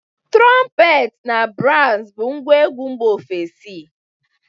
Trọmpet na baz bụ ngwa egwu mba ofesi.